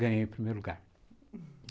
Ganhei o primeiro lugar.